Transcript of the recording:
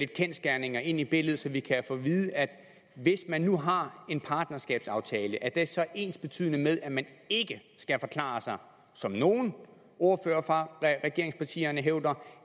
kendsgerninger ind i billedet så vi kan få at vide hvis man nu har en partnerskabsaftale er det så ensbetydende med at man ikke skal forklare sig som nogle ordførere fra regeringspartierne hævder